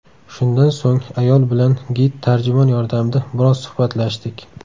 Shundan so‘ng ayol bilan gid tarjimon yordamida biroz suhbatlashdik.